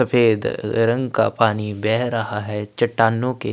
सफ़ेद रंग का पानी बह रहा है चट्टानों के --